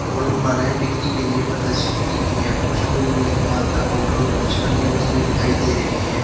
और मालाए बिक्री के लिए प्रदर्शित की गयी है पृष्ठभूमि में दुकान का काउंटर और कुछ अन्य वस्तुए दिखाई दे रहे हैं।